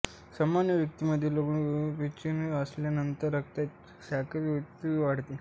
सामान्य व्यक्तीमध्ये ग्लूकोज पिण्यात आल्यानंतर रक्तातील साखर त्वरित वाढते